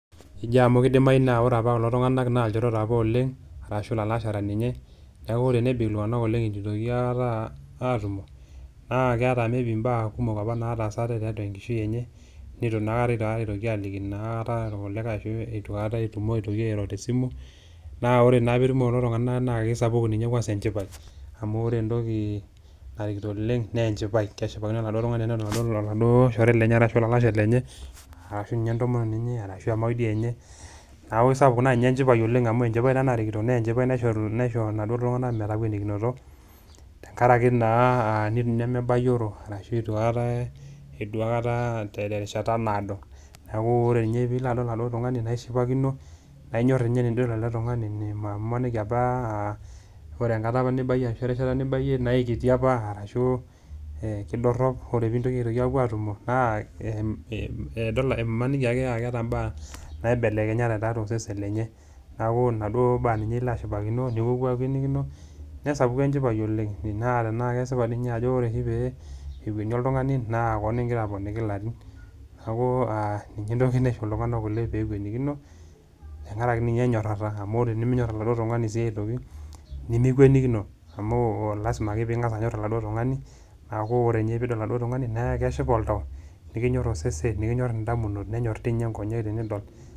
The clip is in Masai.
Ejo amu keidimayu kulo tung'ana naa ilchoreta opa oleng', ashu ilalashera ninye neaku ore tenebik iltung'ana oleng' eitu eitoki aikata atumo, naa keata maybe imbaa kumok opa nataasate tiatua enkishui enye, neitu naa aikata naa eitoki alikino naata ilkulikai anaa eitu aikata etumoki airo te esimu, naa ore naa pee etumo kulo tung'ana naa keisapuku ninye enchipai, amu ore entoki narikito oleng' naa enchipai neshipaki laduo tung'anak neshipakino oladuo tung'ani ashu oladuo shore lenye, ashu duo ninye entomononi enye ashu emaoi dii duo enye. Neaku ai sapuk duo enchipai oleng' amu enchipai narikito naa enchipai naishoru laduo tung'anak metawuenikinoto tenkaraki naa Ina nemebayioro ashu eitu aikata edua aikata te erishata naado, neaku ore doi ninye pee ilo adol aladuo tung'ani naa ishipakino, ainyor ninye tanaa idol ele tung'ani maaniki opa aa Kore enkata opa nibayie ashu enkata opa nibayie naa ai kiti opa arashu keidorop na ore pee iwuowuo aatumo naa maaniki ake eata imbaa naibelekenyate tiatua osesen lenye, neaku naduo baa peeke ilo ashipakino nipuopuo apalikino, nesapuku enchipai oleng'. Naa tanakesipa ninye pee akwunie oltung'ani naa kilo aponiki ilarin. Neaku ninye entoki naisho iltung'ana oleng' pee ewuenikino tenkaraki ninye enyorata tenkaraki minyor oladuo tung'ani sii aitoki nimiwunikino amu lasima ake pee ing'as anyoru oladuo tung'ani, neaku ore pee idol ninye oladuo tung'ani naa keshipa oltau nikinyoru osesen, nikinyoru indamunot, nenyor inkonyek sii tinidol.